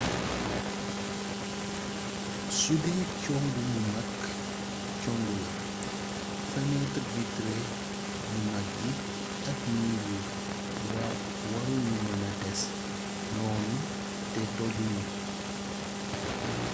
sudee congu mu mag congu la fenêtre vitrée yu mag yi ak mur yi waru ñu mëna des noonu te toju ñu